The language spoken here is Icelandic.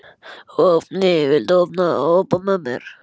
Vápni, viltu hoppa með mér?